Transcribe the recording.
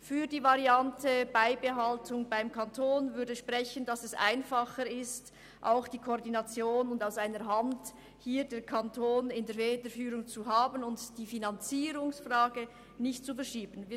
Für die Variante «Beibehaltung beim Kanton» würde sprechen, dass es einfacher ist, wenn der Kanton die Federführung behält, sodass koordiniert und alles aus einer Hand getan wird und die Finanzierung nicht verschoben wird.